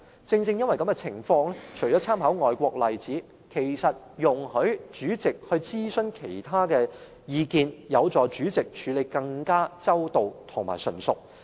在此情況下，除參考外國例子外，容許主席諮詢其他意見會有助主席處理得更周到及純熟。